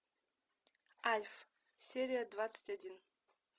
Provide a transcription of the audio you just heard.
альф серия двадцать один